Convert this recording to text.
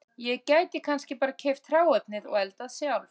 Ég gæti kannski bara keypt hráefnið og eldað sjálf